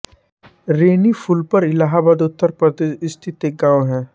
रैनी फूलपुर इलाहाबाद उत्तर प्रदेश स्थित एक गाँव है